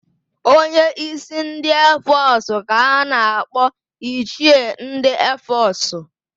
Onye ísí ndị eefọsụ ka a na-akpọ ichie ndị eefọsụ.